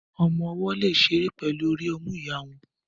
Ọmọ-ọwọ́ lè ṣeré pẹ̀lú orí ọmú ìyá wọn